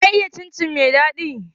Waya iya cin cin mai daɗi?